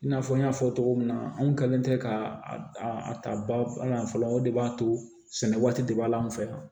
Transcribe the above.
I n'a fɔ n y'a fɔ cogo min na anw kɛlen tɛ ka a ta bala yan fɔlɔ o de b'a to sɛnɛ waati de b'a la anw fɛ yan